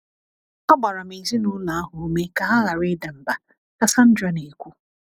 Agbara m ezinụlọ ahụ ume ka ha ghara ịda mbà, ” ka Sandra na - ekwu.